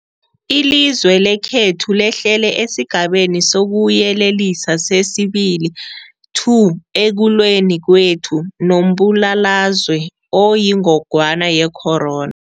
Ilizwe lekhethu lehlele esiGabeni sokuYelelisa sesi-2 ekulweni kwethu nombulalazwe oyingogwana ye-corona.